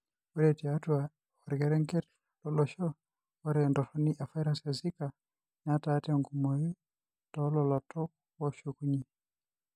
Ore tiatua orkerenget lolosho, ore entoroni evirus eZika netaa tenkumoi toolalotok ooshukunyie.